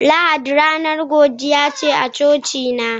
Lahadi ranar godiya ce a cocina